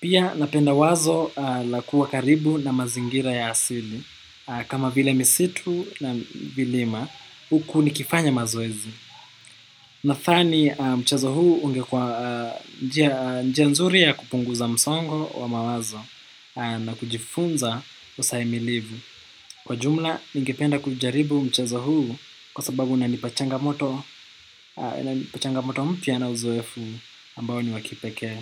Pia napenda wazo la kuwa karibu na mazingira ya asili. Kama vile misitu na vilima, huku nikifanya mazoezi. Nafani mchazo huu ungekwa njia nzuri ya kupunguza msongo wa mawazo na kujifunza usahimilivu. Kwa jumla, ninge penda kujaribu mchazo huu kwa sababu na nipachangamoto mpya na uzoefu ambao ni wa kipekee.